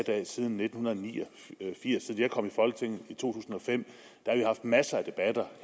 det her siden nitten ni og firs jeg kom i folketinget i to tusind og fem har vi haft masser af debatter